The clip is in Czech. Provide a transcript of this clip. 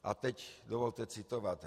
A teď dovolte citovat.